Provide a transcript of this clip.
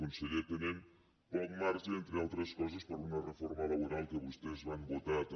conseller tenen poc marge entre altres coses per una reforma laboral que vostès van votar també